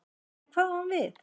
En hvað á hún við?